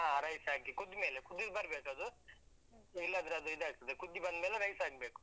ಹಾ rice ಹಾಕಿ ಕುದ್ಮೇಲೆ ಕುದಿ ಬರ್ಬೇಕು ಅದು. ಇಲ್ಲದ್ರೆ ಅದು ಇದಾಗ್ತದೆ, ಕುದಿ ಬಂದ್ಮೇಲೆ rice ಹಾಕ್ಬೇಕು.